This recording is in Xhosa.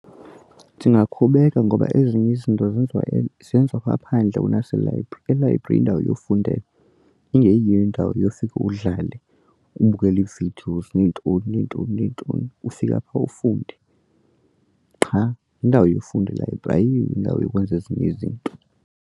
Ndingakhubeka ngoba ezinye izinto zenziwa zenziwa ngaphandle kunaselayibhri. Elayibhri yindawo yofundela engeyiyo indawo yofika udlale ubukele ii-videos neentoni neentoni neentoni. Ufika phaa ufunde qha yindawo yokufundela ilayibrari ayiyo indawo yokwenza ezinye izinto.